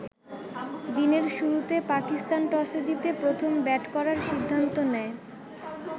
দিনের শুরুতে পাকিস্তান টসে জিতে প্রথম ব্যাট করার সিদ্ধান্ত নেয়।